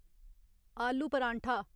आलू पराठा